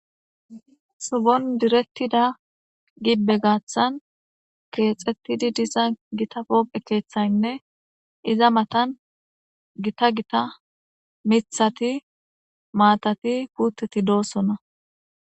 Shubon diretida gibe gathan kexetidi diza Gita poqe keethayne iza matan Gita Gita mithati matati puteti de'osona